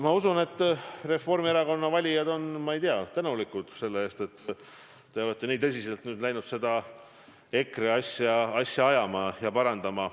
Ma usun, et Reformierakonna valijad on teile tänulikud selle eest, et te olete nii tõsiselt läinud seda EKRE asja ajama ja parandama.